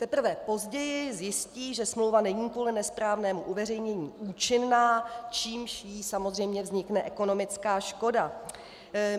Teprve později zjistí, že smlouva není kvůli nesprávnému uveřejnění účinná, čímž jí samozřejmě vznikne ekonomická škoda.